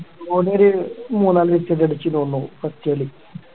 ഓന് ഒരു മൂന്നാല് six ഒക്കെ അടിച്ചുന്ന് തോന്നുന്നു first ല്